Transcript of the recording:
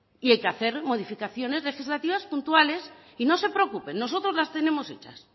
y hay que hacer modificaciones legislativas puntuales y no se preocupe nosotros las tenemos hechas